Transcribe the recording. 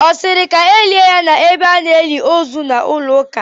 Ọ siri ka elie ya n'ebe a n'eli ozu n'ụlọ ụka?